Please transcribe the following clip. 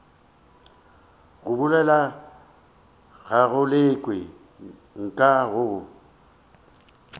go bolela galekwe nka go